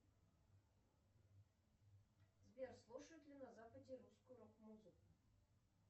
сбер слушают ли на западе русскую рок музыку